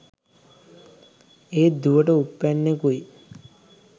ඒත් දුවට උප්පැන්නෙකුයි